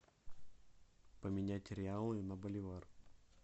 поменять реалы на боливар